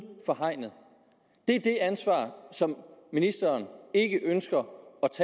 for hegnet det er det ansvar som ministeren ikke ønsker